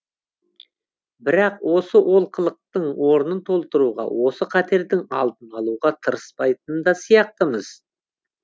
бірақ осы олқылықтың орнын толтыруға осы қатердің алдын алуға тырыспайтын да сияқтымыз